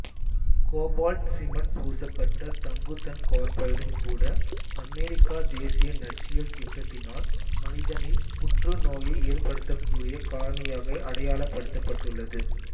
cobalt cement பூசப்பட்ட தங்குதன் கார்பைடும் கூட அமெரிக்க தேசிய நச்சியல் திட்டத்தினால் மனிதனில் புற்றுநோயை ஏற்படுத்தக்கூடிய காரணியாகவே அடையாளப்படுத்தப்பட்டுள்ளது